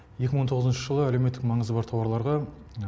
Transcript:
екі мың он тоғызыншы жылы әлеуметтік маңызы бар тауарларда